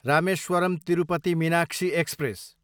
Rameswaram, Tirupati Meenakshi express